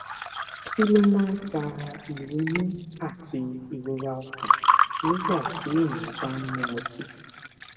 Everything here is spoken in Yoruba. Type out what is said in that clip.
kí ló máa ń fa ìrunú àti ìrora ọkàn nígbà téèyàn bá ń mu ọtí